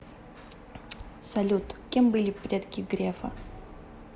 салют кем были предки грефа